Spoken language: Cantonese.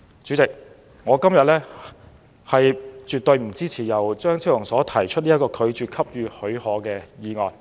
主席，我今天絕不會支持由張超雄議員提出的，拒絕申請許可的議案。